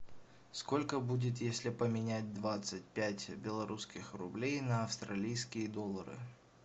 сколько будет если поменять двадцать пять белорусских рублей на австралийские доллары